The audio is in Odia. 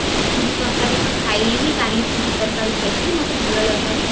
ପୁରି ତରକାରୀ ତ ଖାଇଲିନି କାଲି ପୁରି ତାରକାରୀ ଖାଇଥିଲି ମତେ ଭଲ ଲାଗିଲାନି